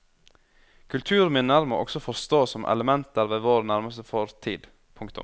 Kulturminner må også forstås som elementer ved vår nærmeste fortid. punktum